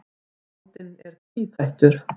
Vandinn er tvíþættur.